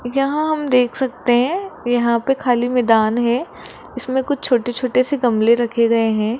यहां हम देख सकते हैं यहां पे खाली मैदान है इसमें कुछ छोटे छोटे से गमले रखे गए हैं।